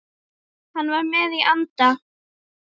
Hann var með í anda.